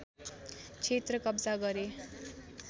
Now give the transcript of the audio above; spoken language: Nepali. क्षेत्र कब्जा गरे